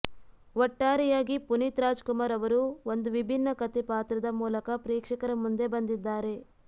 ಒಟ್ಟಾರೆಯಾಗಿ ಪುನೀತ್ ರಾಜ್ ಕುಮಾರ್ ಅವರು ಒಂದು ವಿಭಿನ್ನ ಕಥೆ ಪಾತ್ರದ ಮೂಲಕ ಪ್ರೇಕ್ಷಕರ ಮುಂದೆ ಬಂದಿದ್ದಾರೆ